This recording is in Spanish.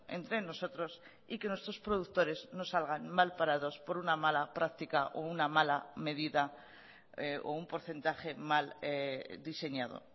entre nosotros y que nuestros productores no salgan mal parados por una mala practica o una mala medida o un porcentaje mal diseñado